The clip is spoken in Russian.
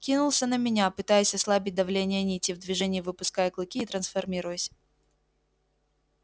кинулся на меня пытаясь ослабить давление нити в движении выпуская клыки и трансформируясь